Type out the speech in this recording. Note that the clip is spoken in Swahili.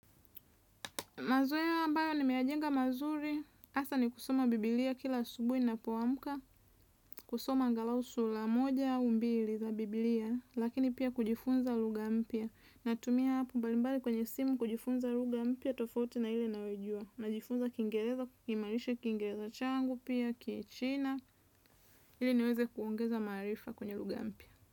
Mazoea ambayo nimeyajenga mazuri, hasaa ni kusoma biblia kila asubuhi ninapoamuka, kusoma angalau sura moja au mbili za biblia, lakini pia kujifunza lugha mpya. Natumia app mbalimbali kwenye simu kujifunza lugha mpya tofauti na ile ninayojua. Najifunza kingereza, kukiimarisha kingereza changu pia, kichina, ili niweze kuongeza maarifa kwenye lugha mpya.